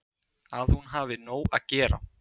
Að hún hafi nóg að gera.